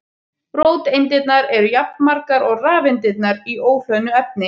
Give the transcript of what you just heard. Róteindirnar eru jafnmargar og rafeindirnar í óhlöðnu efni.